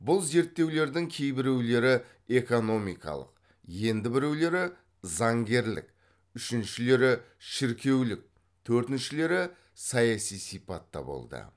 бұл зерттеулердің кейбіреулері экономикалық енді біреулері заңгерлік үшіншілері шіркеулік төртіншілері саяси сипатта болды